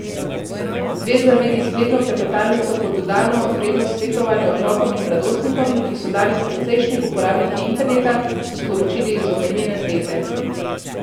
Zveza vidi spletno klepetalnico kot dodano vrednost svetovanja otrokom in mladostnikom, ki so danes precejšnji uporabniki interneta, so sporočili iz omenjene zveze.